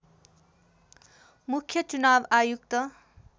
मुख्य चुनाव आयुक्त